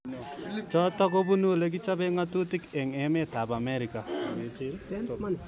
Chotok kobunu olekichope ngatutik eng emet ab Amerika.